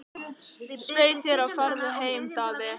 Svei þér og farðu aftur heim, Daði!